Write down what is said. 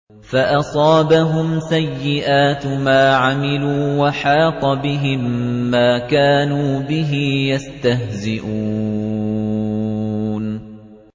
فَأَصَابَهُمْ سَيِّئَاتُ مَا عَمِلُوا وَحَاقَ بِهِم مَّا كَانُوا بِهِ يَسْتَهْزِئُونَ